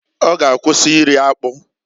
Ọ g'akwụsị iri akpụ.